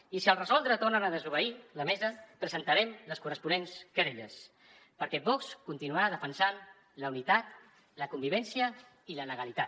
i si al resoldre tornen a desobeir la mesa presentarem les corresponents querelles perquè vox continuarà defensant la unitat la convivència i la legalitat